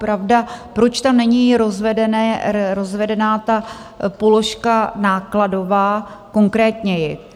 Pravda, proč tam není rozvedená ta položka nákladová konkrétněji?